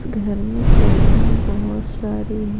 इस घर में खिड़कियां बहुत सारी है।